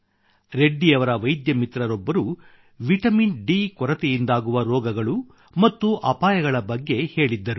ರೆಡ್ಡಿಯವರ ವೈದ್ಯ ಮಿತ್ರರೊಬ್ಬರು vitamin D ಕೊರತೆಯಿಂದಾಗುವ ರೋಗಗಳು ಮತ್ತು ಅಪಾಯಗಳ ಬಗ್ಗೆ ಹೇಳಿದ್ದರು